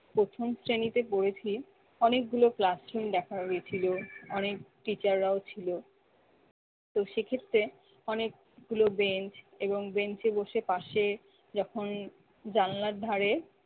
প্রথম শ্রেণীতে পড়েছি অনেকগুলো classroom দেখা গেছিল, অনেক teacher রাও ছিলো। তো সেক্ষেত্রে অনেকগুলো brench এবং brench এ বসে পাশে যখন জানলার ধারে